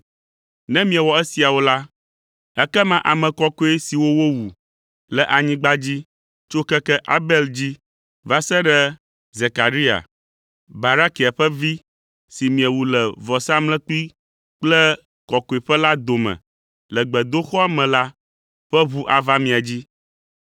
Ne miewɔ esiawo la, ekema ame kɔkɔe siwo wowu le anyigba dzi tso keke Abel dzi va se ɖe Zekaria, Barakia ƒe vi si miewu le vɔsamlekpui kple kɔkɔeƒe la dome le gbedoxɔa me la, ƒe ʋu ava mia dzi.